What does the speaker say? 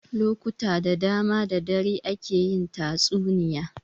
Lokuta da dama da dare ake yin tatsuniya.